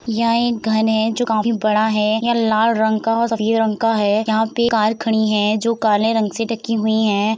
यह एक घन है जो काफी बड़ा है। यह लाल रंग का सफ़ेद रंग का है। यहाँ पे कार खड़ी है जो काले रंग से ढकी हुईं है।